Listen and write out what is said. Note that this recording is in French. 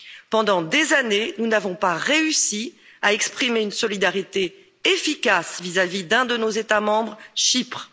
Pendant des années, nous n'avons pas réussi à exprimer une solidarité efficace vis à vis d'un de nos États membres, Chypre.